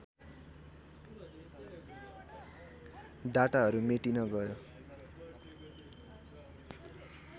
डाटाहरू मेटिन गयो